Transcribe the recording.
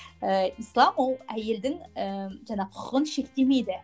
ііі ислам ол әйелдің ііі жаңағы құқығын шектемейді